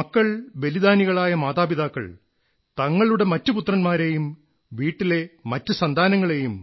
മക്കൾ ബലിദാനികളായ മാതാപിതാക്കൾ തങ്ങളുടെ മറ്റു പുത്രൻമാരെയും വീട്ടിലെ മറ്റു സന്താനങ്ങളെയും